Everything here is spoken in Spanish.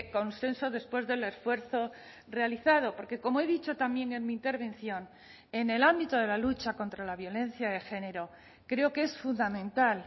consenso después del esfuerzo realizado porque como he dicho también en mi intervención en el ámbito de la lucha contra la violencia de género creo que es fundamental